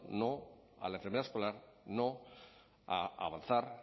no a la enfermera escolar no a avanzar